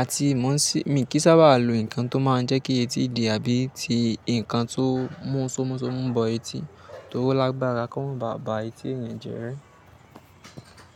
Àti mo sì-- mi kì í sábà lo nǹkan tó máa ń jẹ́ kí etí di àbí ti nǹkan tó mú somusomu bọ etí torí o lágbára kó ma ba ba etí ènìyàn jẹ.